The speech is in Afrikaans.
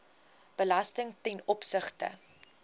belasting ten opsigte